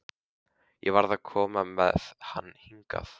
Ég varð að koma með hann hingað.